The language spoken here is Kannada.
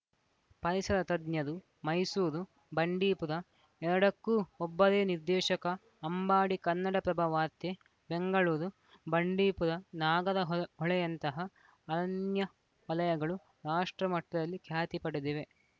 ಪರಿಸರ ತಜ್ಞರು ಮೈಸೂರು ಬಂಡೀಪುರ ಎರಡಕ್ಕೂ ಒಬ್ಬರೇ ನಿರ್ದೇಶಕ ಅಂಬಾಡಿ ಕನ್ನಡಪ್ರಭ ವಾರ್ತೆ ಬೆಂಗಳೂರು ಬಂಡೀಪುರ ನಾಗರಹೊಳೆ ಹೊಳೆ ಯಂತಹ ಅರಣ್ಯ ವಲಯಗಳು ರಾಷ್ಟ್ರಮಟ್ಟದಲ್ಲಿ ಖ್ಯಾತಿ ಪಡೆದಿವೆ